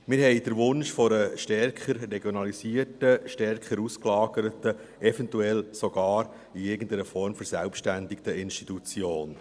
Wir haben den Wunsch nach einer stärker regionalisierten, stärker ausgelagerten, eventuell sogar in irgendeiner Form verselbstständigten Institution.